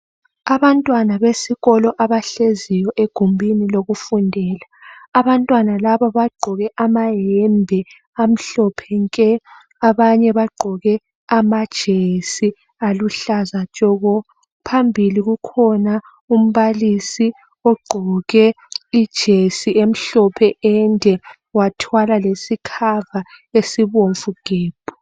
Abantwana besikolo abahleziyo egumbini lokufundela. Abantwana laba bagqoke amayembe amhlophe nke abanye bagqoke amajesi aluhlaza tshoko. Phambili kukhona umbalisi ogqoke ijesi emhlophe ende wathwala lesikhava ezibomvu gebhu.